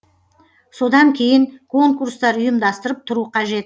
содан кейін конкурстар ұйымдастырып тұру қажет